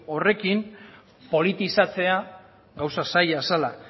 horrekin politizatzea gauza zaila zela